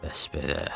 Bəs belə.